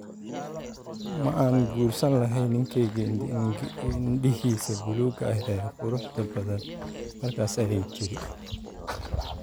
Ma aan guursan lahayn ninkeyga indhihiisa buluuga ah ee quruxda badan, markaas, ayay tiri.